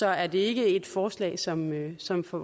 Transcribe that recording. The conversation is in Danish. er det ikke et forslag som som for